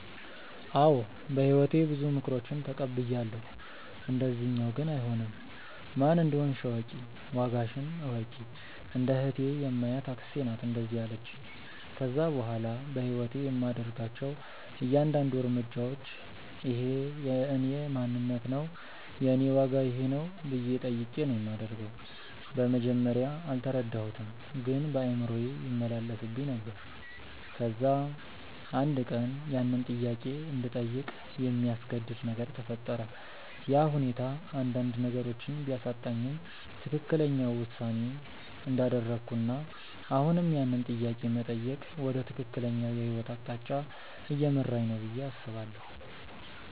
አዎ በህይወቴ ብዙ ምክሮችን ተቀብያለው፣ እንደዚኛው ግን አይሆንም። "ማን እንደሆንሽ እወቂ፣ ዋጋሽን እወቂ"። እንደ እህቴ የማያት አክስቴ ናት እንደዛ ያለቺኝ። ከዛ በኋላ በህይወቴ የማደርጋቸው እያንዳድንዱ እርምጃዎች" እኼ የእኔ ማንነት ነው? የኔ ዋጋ ይኼ ነው?" ብዬ ጠይቄ ነው ማደርገው። በመጀመርያ አልተረዳሁትም ግን በአእምሮዬ ይመላለስብኝ ነበር። ከዛ አንድ ቀን ያንን ጥያቄ እንድጠይቅ የሚያስገድድ ነገር ተፈጠረ፤ ያ ሁኔታ አንዳንድ ነገሮችን ቢያሳጣኝም ትክክለኛው ውሳኔ እንዳደረኩና አሁንም ያንን ጥያቄ መጠየቅ ወደ ትክክለኛው የህይወት አቅጣጫ እየመራኝ ነው ብዬ አስባለው።